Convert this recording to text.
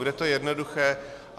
Bude to jednoduché.